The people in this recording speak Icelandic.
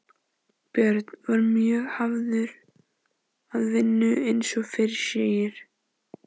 Björn var mjög hafður að vinnu eins og fyrr segir.